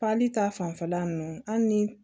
Pali ta fanfɛla ninnu hali ni